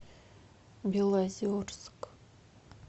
белозерск